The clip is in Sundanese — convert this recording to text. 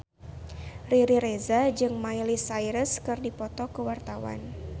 Riri Reza jeung Miley Cyrus keur dipoto ku wartawan